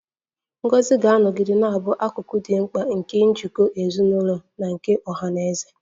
Ngọzi ga-anọgide na-abụ akụkụ dị mkpa nke njikọ ezinụlọ na nke ọha na eze